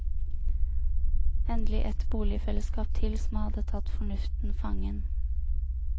Endelig ett boligfellesskap til som hadde tatt fornuften fangen.